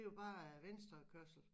Det jo bare venstrekørsel